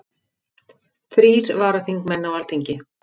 Þrír varaþingmenn á Alþingi